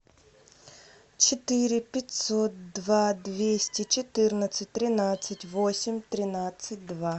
четыре пятьсот два двести четырнадцать тринадцать восемь тринадцать два